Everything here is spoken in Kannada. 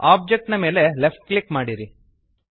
ಆಬ್ಜೆಕ್ಟ್ ನ ಮೇಲೆ ಲೆಫ್ಟ್ ಕ್ಲಿಕ್ ಮಾಡಿರಿ